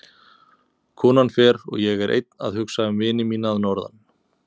Konan fer og ég er einn að hugsa um vini mína að norðan.